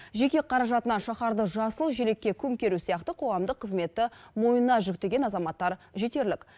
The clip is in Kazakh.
жеке қаражатына шаһарды жасыл желекке көмкеру сияқты қоғамдық қызметті мойнына жүктеген азаматтар жетерлік